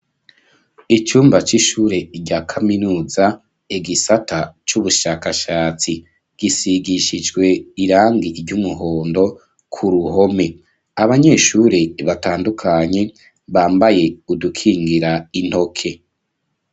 Icumba c'ishuri rya kaminuza egisata c'ubushakashatsi gisigishijwe irangi ry'umuhondo ku ruhome. Abanyeshuri batandukanye bambaye udukingira intoke.